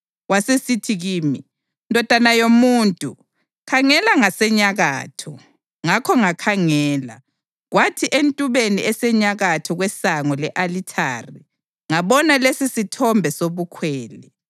Wasesithi kimi, “Ndodana yomuntu, khangela ngasenyakatho.” Ngakho ngakhangela, kwathi entubeni esenyakatho kwesango le-alithari ngabona lesisithombe sobukhwele.